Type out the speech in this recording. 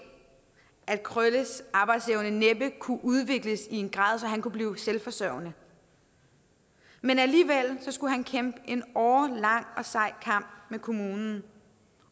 at krølles arbejdsevne næppe kunne udvikles i en grad så han kunne blive selvforsørgende alligevel skulle han kæmpe en årelang og sej kamp med kommunen